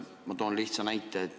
Ma toon lihtsa näite.